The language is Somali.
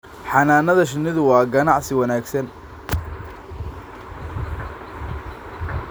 Xannaanada shinnidu waa ganacsi wanaagsan.